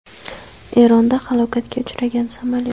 Eronda halokatga uchragan samolyot.